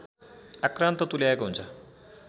आक्रान्त तुल्याएको हुन्छ